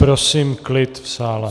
Prosím klid v sále.